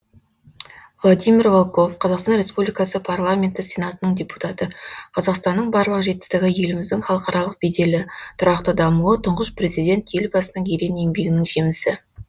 владимир волков қазақстан республикасы парламенті сенатының депутаты қазақстанның барлық жетістігі еліміздің халықаралық беделі тұрақты дамуы тұңғыш президент елбасының ерен еңбегінің жемісі